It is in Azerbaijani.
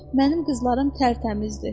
Mənim qızlarım tərtəmizdir.